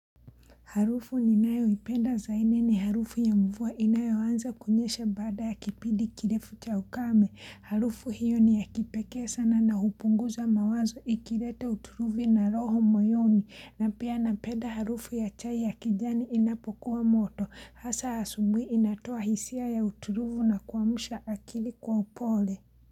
Harufu ninayoipenda zaidi ni harufu ya mvua inayo anza kunyesha bada ya kipidi kirefu cha ukame. Harufu hiyo ni ya kipekee sana na hupunguza mawazo ikirete utulivu na loho moyoni. Na pia napenda harufu ya chai ya kijani inapokuwa moto. Hasa asubuhi inatoa hisia ya uturuvu na kuamsha akili kwa upole.